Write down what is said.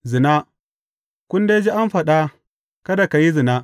Zina Kun dai ji an faɗa, Kada ka yi zina.’